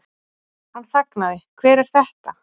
Hann þagnaði, Hver er þetta?